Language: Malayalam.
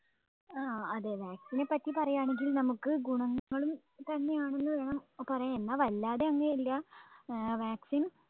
ആ അതെ vaccine നെ പറ്റി പറയാണെങ്കി നമ്മുക്ക് ഗുണങ്ങളും തന്നെയാണെന്ന് വേണം പറയാൻ എന്ന വല്ലാതെ അങ്ങ് ഇല്ല ഏർ vaccine